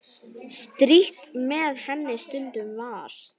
Stýrt með henni stundum var.